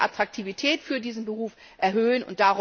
Darum müssen wir die Attraktivität dieses Berufs erhöhen.